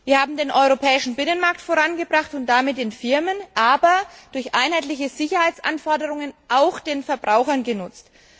Wir haben den europäischen Binnenmarkt vorangebracht und damit den Firmen, aber durch einheitliche Sicherheitsanforderungen auch den Verbrauchern genutzt.